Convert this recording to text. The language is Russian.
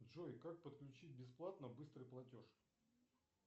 джой как подключить бесплатно быстрый платеж